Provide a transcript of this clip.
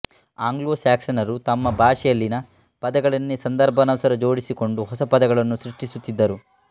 ಆ್ಯಂಗ್ಲೊಸ್ಯಾಕ್ಸನರು ತಮ್ಮ ಭಾಷೆಯಲ್ಲಿಯ ಪದಗಳನ್ನೇ ಸಂದರ್ಭಾನುಸಾರ ಜೋಡಿಸಿಕೊಂಡು ಹೊಸ ಪದಗಳನ್ನು ಸೃಷ್ಟಿಸುತ್ತಿದ್ದರು